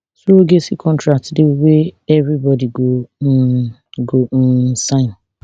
surrogacy contract dey wey evribodi go um go um sign